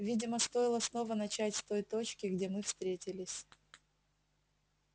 видимо стоило снова начать с той точки где мы встретились